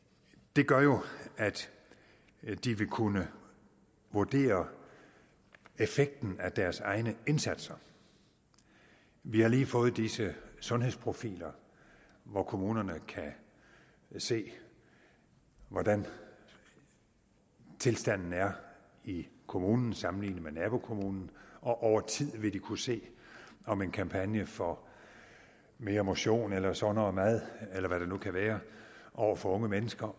det gør jo at de vil kunne vurdere effekten af deres egne indsatser vi har lige fået disse sundhedsprofiler hvor kommunerne kan se hvordan tilstanden er i kommunen sammenlignet med nabokommunen og over tid vil de kunne se om en kampagne for mere motion eller sundere mad eller hvad det nu kan være over for unge mennesker